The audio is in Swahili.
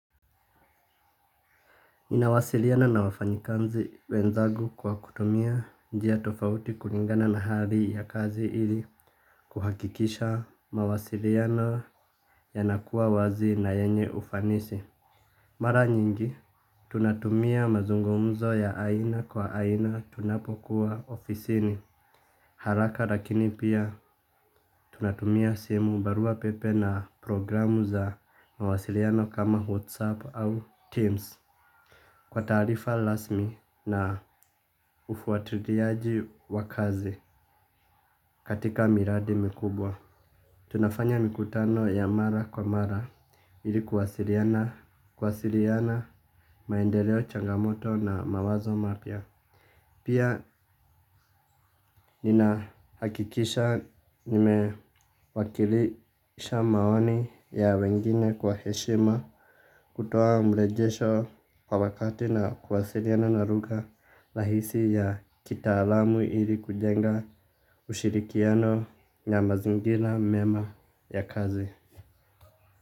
Ninawasiliana na wafanyikazi wenzangu kwa kutumia njia tofauti kulingana na hali ya kazi ili kuhakikisha mawasiliano yanakuwa wazi na yenye ufanisi. Mara nyingi, tunatumia mazungumzo ya aina kwa aina tunapokuwa ofisini. Haraka lakini pia tunatumia simu baruapepe na programu za mawasiliano kama WhatsApp au Teams. Kwa taarifa rasmi na ufuatiliaji wa kazi katika miradi mikubwa. Tunafanya mikutano ya mara kwa mara. Ili kuwasiliana, maendeleo changamoto na mawazo mapya. Pia ninahakikisha nimewakilisha maoni ya wengine kwa heshima. Kutoa mrejesho kwa wakati na kuwasiliana na lugha rahisi ya kitaalamu ili kujenga ushirikiano ya mazingira mema ya kazi.